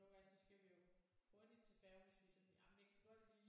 Nogle gange så skal vi jo hurtigt til færgen hvis vi sådan jamen jeg kan godt lige